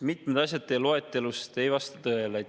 Mitmed asjad teie loetelust ei vasta tõele.